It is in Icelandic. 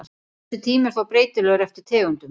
Þessi tími er þó breytilegur eftir tegundum.